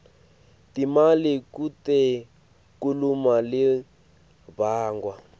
timali kutekulima libangwa